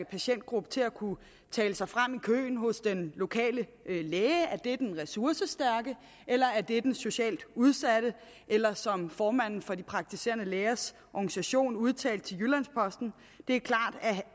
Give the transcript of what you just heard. patientgruppe til at kunne tale sig frem i køen hos den lokale læge er det den ressourcestærke eller er det den socialt udsatte eller som formanden for de praktiserende lægers organisation udtalte til jyllands posten det